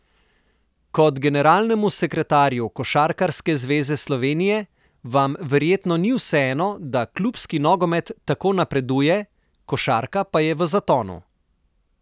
Kot generalnemu sekretarju Košarkarske zveze Slovenije vam verjetno ni vseeno, da klubski nogomet tako napreduje, košarka pa je v zatonu?